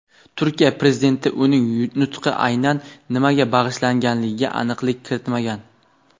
Turkiya Prezidenti uning nutqi aynan nimaga bag‘ishlanishiga aniqlik kiritmagan.